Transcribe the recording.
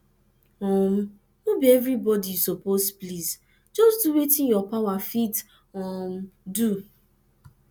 um no bi evribodi yu soppose please jus do wetin yur power fit um do